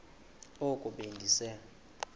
oko be ndise